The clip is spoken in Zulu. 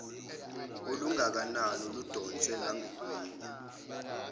olungakanani oludonsiwe lwagwinywa